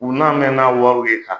U n'a mɛ n'a wariw ye ka